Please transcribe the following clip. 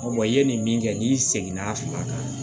i ye nin min kɛ n'i seginna a kan